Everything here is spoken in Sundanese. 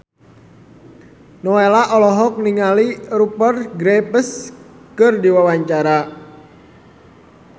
Nowela olohok ningali Rupert Graves keur diwawancara